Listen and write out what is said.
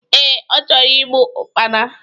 Ee, ọ chọrọ igbu Ụkpana